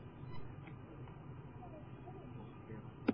Slík regla mundi taka til margra tilvika af þessu tagi.